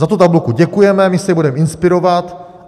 Za tu tabulku děkujeme, my se jí budeme inspirovat.